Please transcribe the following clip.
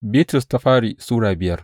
daya Bitrus Sura biyar